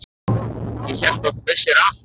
Ég hélt að þú vissir allt.